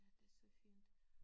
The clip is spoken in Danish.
Ja det så fint